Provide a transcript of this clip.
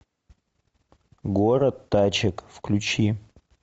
город тачек включи